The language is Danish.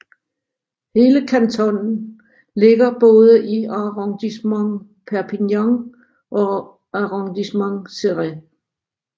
Hele kantonen ligger både i Arrondissement Perpignan og Arrondissement Céret